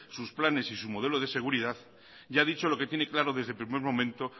sus planes y su modelo de seguridad ya ha dicho lo que tiene claro desde el primer momento